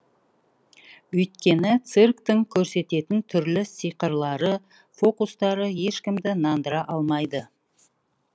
өйткені цирктің көрсететін түрлі сиқырлары фокустары ешкімді нандыра алмайды